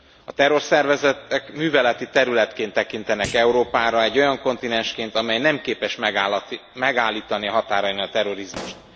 A terrorszervezetek műveleti területként tekintenek Európára, egy olyan kontinensként, amely nem képes megállítani a határain a terrorizmust.